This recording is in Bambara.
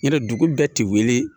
Yarɔ dugu bɛɛ ti wili